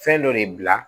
Fɛn dɔ de bila